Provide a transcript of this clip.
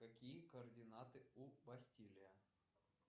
какие координаты у бастилия